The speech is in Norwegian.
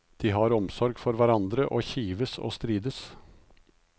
De har omsorg for hverandre og kives og strides.